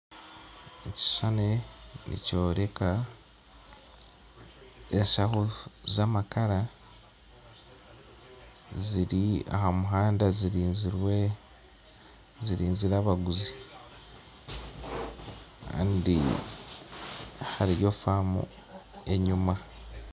Ekishishani nikyoreka enshaho zaamakara ziri ahamuhanda zirinzire abaguzi kandi hariyo faamu enyima